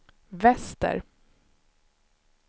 väster